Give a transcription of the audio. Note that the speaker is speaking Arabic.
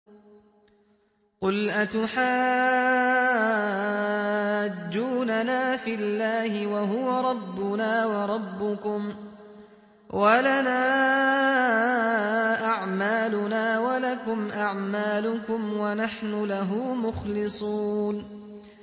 قُلْ أَتُحَاجُّونَنَا فِي اللَّهِ وَهُوَ رَبُّنَا وَرَبُّكُمْ وَلَنَا أَعْمَالُنَا وَلَكُمْ أَعْمَالُكُمْ وَنَحْنُ لَهُ مُخْلِصُونَ